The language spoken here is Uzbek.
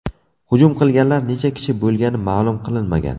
Hujum qilganlar necha kishi bo‘lgani ma’lum qilinmagan.